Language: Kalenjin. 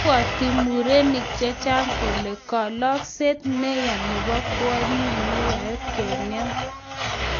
ibwoti murenik chechang kole kalokset neya nebo kwonyik neyoei keng'em